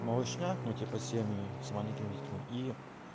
малышня ну типа семьи с маленькими детьми и